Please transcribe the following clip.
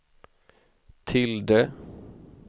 tilde